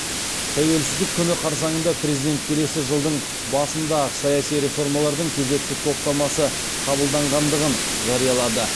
тәуелсіздік күні қарсаңында президент келесі жылдың басында ақ саяси реформалардың кезекті топтамасы қабылданғандығын жариялады